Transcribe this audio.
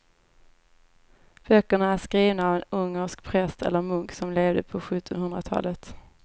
Böckerna är skrivna av en ungersk präst eller munk som levde på sjuttonhundratalet.